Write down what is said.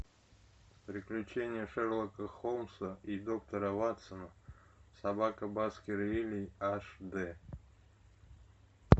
приключения шерлока холмса и доктора ватсона собака баскервилей аш дэ